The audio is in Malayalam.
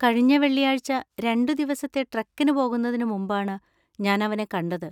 കഴിഞ്ഞ വെള്ളിയാഴ്ച രണ്ടു ദിവസത്തെ ട്രെക്കിന് പോകുന്നതിന് മുമ്പാണ് ഞാൻ അവനെ കണ്ടത്.